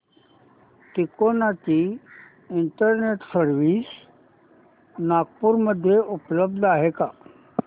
तिकोना ची internet service Nagpur मध्ये उपलब्ध आहे का